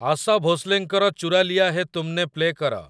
ଆଶା ଭୋଂସ୍ଲେଙ୍କର ଚୁରା ଲିୟା ହେ ତୁମନେ ପ୍ଲେ କର